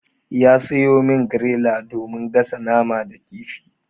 Ya sayo min griller domin gasa nama da kifi.